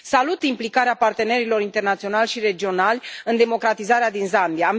Salut implicarea partenerilor internaționali și regionali în democratizarea din Zambia.